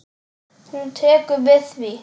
Hún tekur við því.